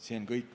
See on kõik.